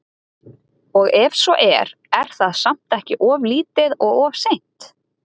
Og ef svo er, er það samt ekki of lítið og of seint?